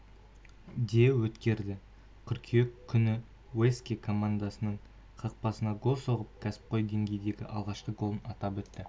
де өткерді қыркүйек күні уэска командасының қақпасына гол соғып кәсіпқой деңгейдегі алғашқы голын атап өтті